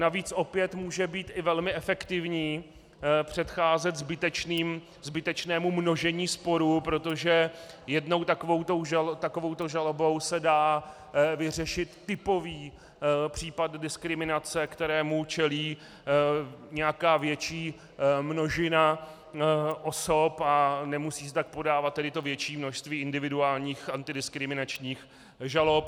Navíc opět může být i velmi efektivní předcházet zbytečnému množení sporů, protože jednou takovouto žalobou se dá vyřešit typový případ diskriminace, kterému čelí nějaká větší množina osob, a nemusí se tak podávat tedy to větší množství individuálních antidiskriminačních žalob.